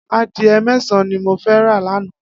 Adiẹ mẹsãn ni mó fẹ rà lànã